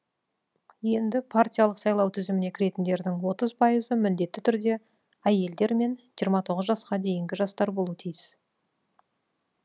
енді партиялық сайлау тізіміне кіретіндердің отыз пайызы міндетті түрде әйелдер мен жасқа дейінгі жастар болуы тиіс